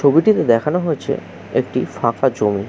ছবিটিতে দেখানো হয়েছে একটি ফাঁকা জমি।